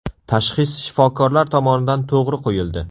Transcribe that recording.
Tashxis shifokorlar tomonidan to‘g‘ri qo‘yildi.